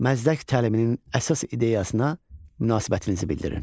Məzdək təliminin əsas ideyasına münasibətinizi bildirin.